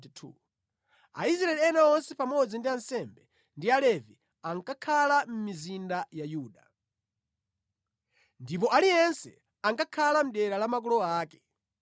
Aisraeli ena onse pamodzi ndi ansembe ndi Alevi ankakhala mʼmizinda ya Yuda, ndipo aliyense ankakhala mʼdera la makolo ake.